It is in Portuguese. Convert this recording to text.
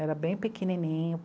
Era bem pequenininho.